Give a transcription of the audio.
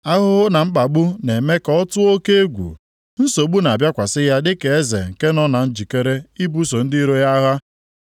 Ahụhụ na mkpagbu na-eme ka ọ tụọ oke egwu, nsogbu na-abịakwasị ya dịka eze nke nọ na njikere ibuso ndị iro ya agha.